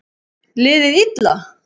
Liðið illa?